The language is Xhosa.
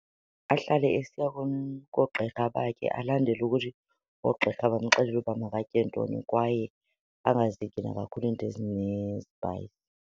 Ahlale esiya koogqirha bakhe, alandele ukuthi oogqirha bamxelela uba makatye ntoni kwaye angazityi nakakhulu izinto ezinespayisi.